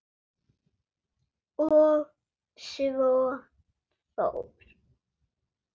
Og svo fór.